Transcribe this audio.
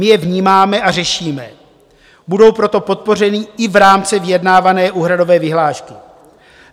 My je vnímáme a řešíme, budou proto podpořeny i v rámci vyjednávané úhradové vyhlášky.